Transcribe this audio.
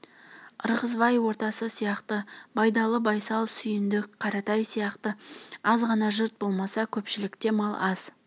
ырғызбай ортасы сияқты байдалы байсал сүйіндік қаратай сияқты азғана жұрт болмаса көпшілікте мал аз